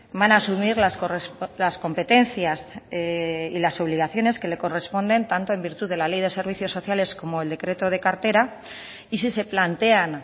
van a asumir las competencias y las obligaciones que le corresponden tanto en virtud de la ley de servicios sociales como el decreto de cartera y si se plantean